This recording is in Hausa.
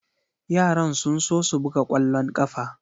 Yaran sun so su buga kwallon kafa.